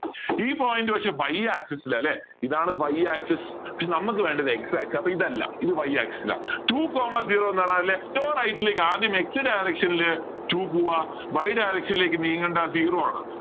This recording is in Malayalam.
ഈ point വെച്ച് y axis ൽ അല്ലേ ഇതാണ് y axis പക്ഷേ നമുക്ക് വേണ്ടത് x axis അപ്പോ ഇതെല്ലാ y axis two coma zero ന്ന് പറഞ്ഞാല് left or right ലേക്ക് ആദ്യം x direction ലേക്ക് two പോവ്വാ y direction ലേക്ക് നീങ്ങണ്ട zero ആണ്